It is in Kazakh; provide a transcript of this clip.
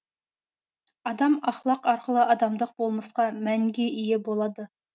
адам ахлақ арқылы адамдық болмысқа мәнге ие болады